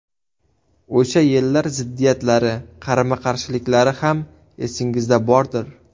O‘sha yillar ziddiyatlari, qarama-qarshiliklari ham esingizda bordir.